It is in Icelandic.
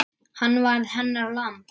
Hann varð hennar lamb.